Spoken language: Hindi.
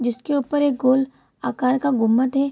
जिसके ऊपर एक गोल आकार का गुमत है।